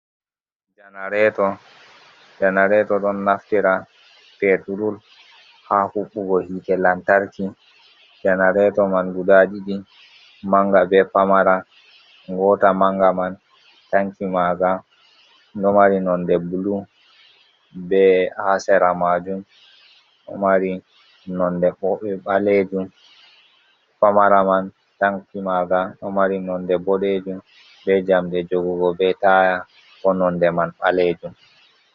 Janareto, janarato ɗon naftira peturul ha huɓɓugo hite lantarki janareto man guda ɗiɗi manga be pamara. Ngota manga man tanki manga ɗo mari nonde bulu be ha sera majum, pamara man tanki manga ɗo mari nonde ɓoɗejum be jamɗe jogugo be taya bo nonde man ɓalejum.